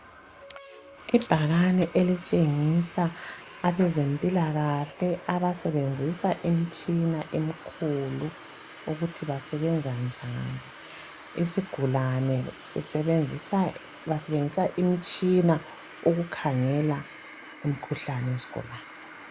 Ibhakani elitshengisa abezempilakahle abasebenzisa imitshina emikhulu ukuthi basenza njani isigulani basebenzisa imitshina ukukhangela imikhuhlane yezigulani